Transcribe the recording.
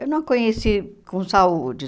Eu não a conheci com saúde.